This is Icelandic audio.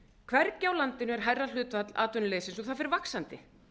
hvergi á landinu er hærra hlutfall atvinnuleysis og það fer vaxandi